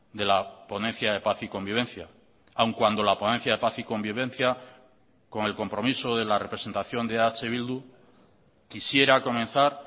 de la ponencia de paz y convivencia aun cuando la ponencia de paz y convivencia con el compromiso de la representación de eh bildu quisiera comenzar